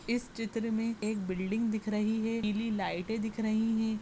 इस चित्र मे एक बिल्डिंग दिख रही है पीली लाइटे दिख रही है।